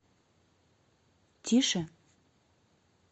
тише